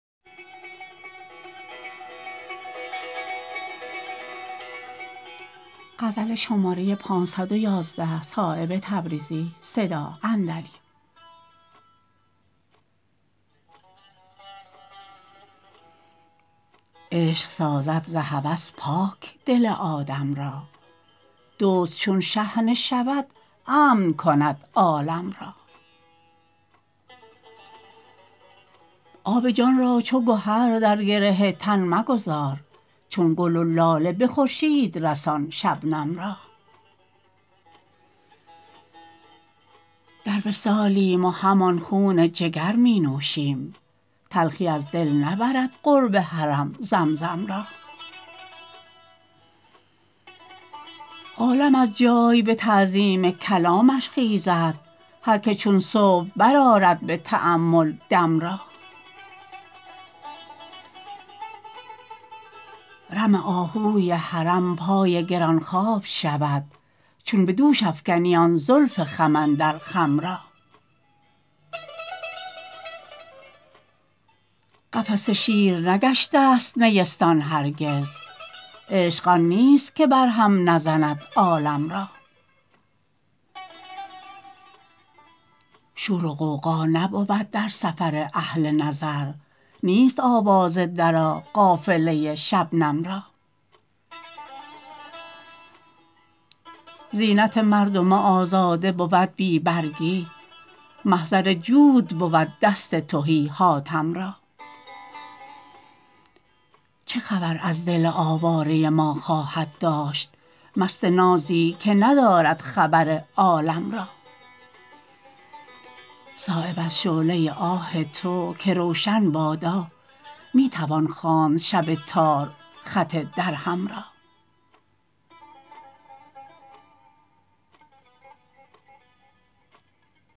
عشق سازد ز هوس پاک دل آدم را دزد چون شحنه شود امن کند عالم را آب جان را چو گهر در گره تن مگذار چون گل و لاله به خورشید رسان شبنم را در وصالیم و همان خون جگر می نوشیم تلخی از دل نبرد قرب حرم زمزم را عالم از جای به تعظیم کلامش خیزد هر که چون صبح برآرد به تأمل دم را رم آهوی حرم پای گرانخواب شود چون به دوش افکنی آن زلف خم اندر خم را قفس شیر نگشته است نیستان هرگز عشق آن نیست که بر هم نزند عالم را شور و غوغا نبود در سفر اهل نظر نیست آواز درا قافله شبنم را زینت مردم آزاده بود بی برگی محضر جود بود دست تهی حاتم را چه خبر از دل آواره ما خواهد داشت مست نازی که ندارد خبر عالم را صایب از شعله آه تو که روشن بادا می توان خواند شب تار خط درهم را